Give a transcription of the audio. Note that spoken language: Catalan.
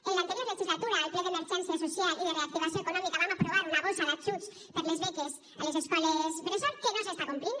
en l’anterior legislatura al ple d’emergència social i de reactivació econòmica vam aprovar una bossa d’ajuts per a les beques a les escoles bressol que no s’està complint